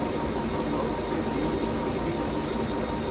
बहुत से दीन दुखी